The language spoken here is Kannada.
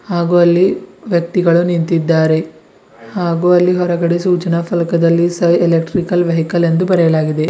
ಹಾಗೂ ಅಲ್ಲಿ ವ್ಯಕ್ತಿಗಳು ನಿಂತಿದ್ದಾರೆ ಹಾಗೂ ಅಲ್ಲಿ ಹೊರಗಡೆ ಸೂಚನಾ ಫಲಕದಲ್ಲಿ ಸ ಎಲೆಕ್ಟ್ರಿಕಲ್ ವೆಹಿಕಲ್ ಎಂದು ಬರೆಯಲಾಗಿದೆ.